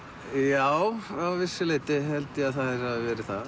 já að vissu leyti held ég að þær hafi verið það